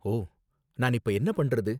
ஓ! நான் இப்போ என்ன பண்றது?